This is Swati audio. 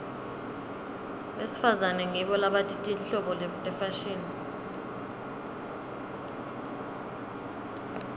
besifazane ngibo labati tinhlobo tefashini